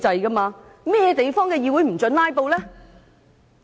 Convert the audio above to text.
甚麼地方的議會不准"拉布"？